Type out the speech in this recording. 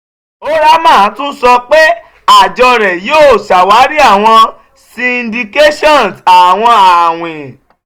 oramah tun sọ pe àjọ rẹ yoo ṣawari awọn syndications àwọn awin